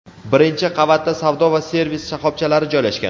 Birinchi qavatda savdo va servis shoxobchalari joylashgan.